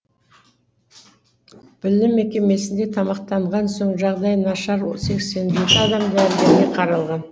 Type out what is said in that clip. білім мекемесінде тамақтанған соң жағдайы нашар сексен жеті адам дәрігерге қаралған